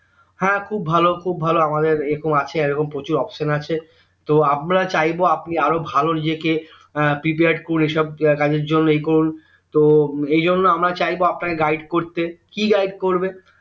হ্যাঁ খুব ভালো খুব ভালো আমাদের এইরকম আছে এইরকম প্রচুর option আছে তো আমরা চাইবো আপনি আরো ভালো ইয়ে কে এর prepare করে সব কাজের জন্য উহ করুন তো এইজন্য আমরা চাইবো আপনাকে guide করতে কি guide করবে